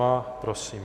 Má. Prosím.